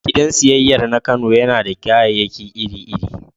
Gidan siyayyar na Kano yana da kayayyaki iri-iri